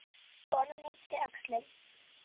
Konan yppti öxlum.